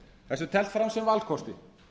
þessu er teflt fram sem valkosti